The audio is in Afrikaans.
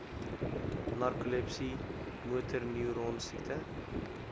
narkolepsie motorneuron siekte